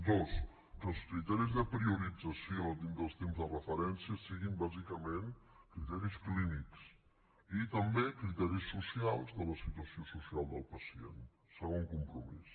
dos que els criteris de priorització dintre dels temps de referència siguin bàsicament criteris clínics i també criteris socials de la situació social del pacient segon compromís